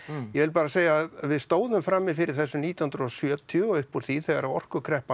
ég vil bara segja að stóðum frammi fyrir þessu nítján hundruð og sjötíu og upp úr því þegar